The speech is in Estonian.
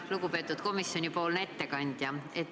Lugupeetud komisjonipoolne ettekandja!